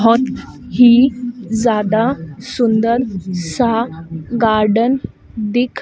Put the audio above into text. बहोत ही ज्यादा सुंदर सा गार्डन दिख--